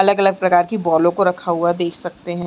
अलग - अलग प्रकार की बॉलों को रखा हुआ देख सकते हैं।